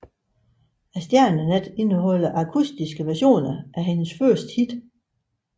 Stjernenat indeholder akustiske versioner af hendes største hits